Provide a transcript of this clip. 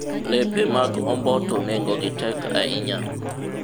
lepe mag omboto nengogi tek ahinya